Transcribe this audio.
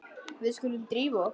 Við skulum drífa okkur.